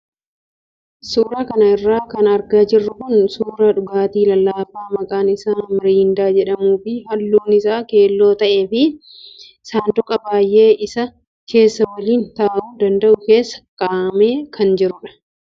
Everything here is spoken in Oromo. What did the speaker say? Suuraa kanarra kan argaa jirru kun suuraa dhugaatii lallaafaa maqaan isaa mirindaa jedhamuu fi halluun isaa keelloo ta'ee fi saanduqa baay'een isaa keessa waliin taa'uu danda'u keessa kaa'amee kan jirudha.